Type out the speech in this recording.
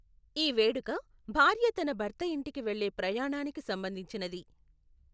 ఈ వేడుక భార్య తన భర్త ఇంటికి వెళ్ళే ప్రయాణానికి సంబంధించినది.